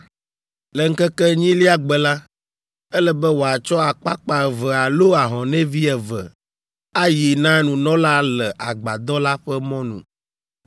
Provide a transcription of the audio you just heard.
Le ŋkeke enyilia gbe la, ele be wòatsɔ akpakpa eve alo ahɔnɛvi eve ayi na nunɔla le agbadɔ la ƒe mɔnu.